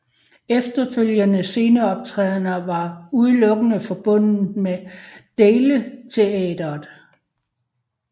Efterfølgende sceneoptrædener var udelukkende forbundet med Dailesteatret